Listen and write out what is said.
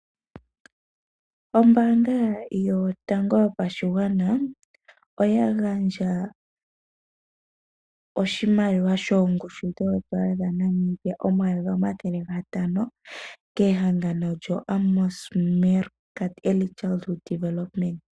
Ombaanga yotango yopashigwana oya gandja oshimaliwa shongushu yoondola omayovi omathele gatano kehangano lyo Amos Meerkat Early Childhood Development.